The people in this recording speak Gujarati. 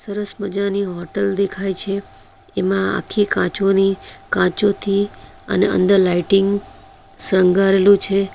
સરસ મજાની હોટલ દેખાય છે એમાં આખી કાચોની કાચોથી અને અંદર લાઇટિંગ શણગારેલું છે.